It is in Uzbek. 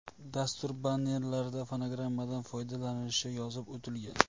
Dastur bannerlarida fonogrammadan foydalanilishi yozib o‘tilgan.